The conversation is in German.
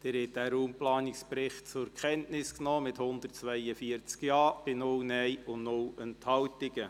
Sie haben den Raumplanungsbericht zur Kenntnis genommen mit 142 Ja- bei 0 NeinStimmen und 0 Enthaltungen.